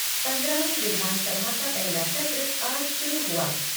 पन्द्रहवीं विधानसभा का पहला सत्र आज शुरु हुआ।